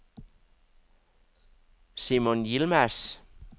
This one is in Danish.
Simon Yilmaz